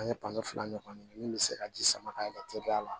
An ye fila ɲɔgɔn kɛ min bɛ se ka ji sama ka yɛlɛ teliya la